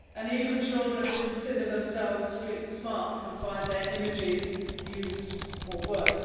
Even children who consider themselves street smart can find their images used or worse.